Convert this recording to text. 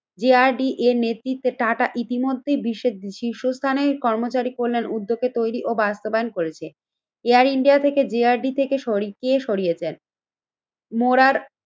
যে R D এর নেতৃত্বে টাটা ইতিমধ্যেই বিশ্বের বিশ শীর্ষ স্থানের কর্মচারী কল্যাণ উদ্যোগে তৈরি ও বাস্তবায়ন করেছে। এয়ার ইন্ডিয়া থেকে যে আর ডি থেকে সরি কে সরিয়েছেন? মোরার